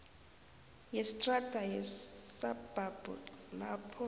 yestrada yesabhabhu lapho